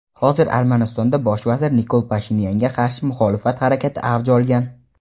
hozir Armanistonda Bosh vazir Nikol Pashinyanga qarshi muxolifat harakati avj olgan.